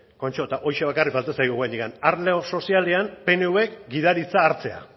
kontxo eta horixe bakarrik falta zaigu oraindik arlo sozialean pnvk gidaritza hartzea